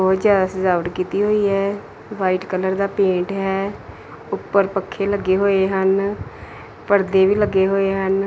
ਬਹੁਤ ਜ਼ਿਆਦਾ ਸਜਾਵਟ ਕੀਤੀ ਹੋਈ ਹੈ ਵਾਈਟ ਕਲਰ ਦਾ ਪੇਂਟ ਹੈ ਉੱਪਰ ਪੱਖੇ ਲੱਗੇ ਹੋਏ ਹਨ ਪਰਦੇ ਵੀ ਲੱਗੇ ਹੋਏ ਹਨ।